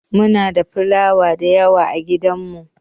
Muna da filawa dayawa a gidan mu.